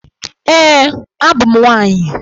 Ee, abụ m nwaanyị.